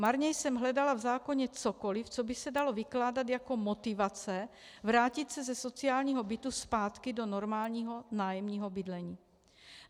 Marně jsem hledala v zákoně cokoli, co by se dalo vykládat jako motivace vrátit se ze sociálního bytu zpátky do normálního nájemního bydlení.